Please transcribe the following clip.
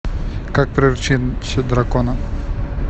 как приручить дракона